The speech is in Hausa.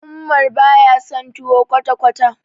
Umar baya son tuwo kwata-kwata.